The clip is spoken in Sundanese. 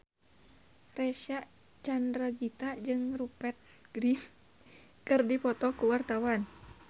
Reysa Chandragitta jeung Rupert Grin keur dipoto ku wartawan